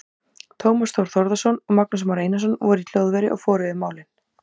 Tómas Þór Þórðarson og Magnús Már Einarsson voru í hljóðveri og fór yfir málin.